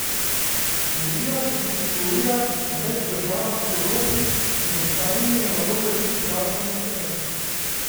Revija se distribuira v več državah po Evropi, med ostalimi je na voljo tudi bralcem v Sloveniji.